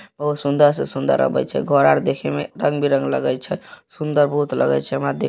और सुंदर से सुंदर आवइ छे घर आर देखे में रंग बिरंग लगई छे। सुन्दर बहुत लागई छे हमरा दे --